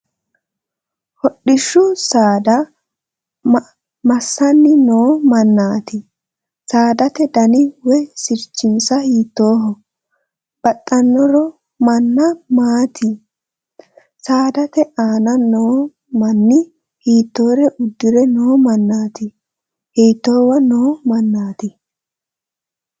Hodhishshu saada ma"assanni noo mannaati? Saadate dani woy sirchinsa mittoho? Baxxaaro maanna maati? Saadate aana noo manni hiittoore uddire noo mannaati? Hiittoowa noo mannaati?